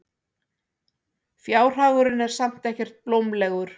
Fjárhagurinn er samt ekkert blómlegur.